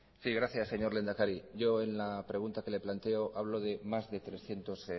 sí gracias señor lehendakari yo en la pregunta que le planteo hablo de más de trescientos